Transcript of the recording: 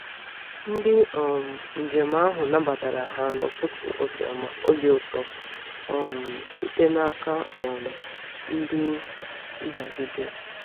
Ndị um njem ahụ nabatara ha n’ụtụtụ obi ụtọ um site n’aka um ndị ndagide.